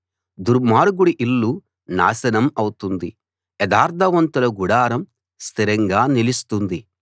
దుర్మార్గుడి ఇల్లు నాశనం అవుతుంది యథార్థవంతుల గుడారం స్థిరంగా నిలుస్తుంది